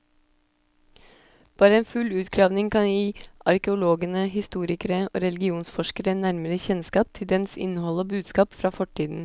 Bare en full utgravning kan gi arkeologene, historikere og religionsforskere nærmere kjennskap til dens innhold og budskap fra fortiden.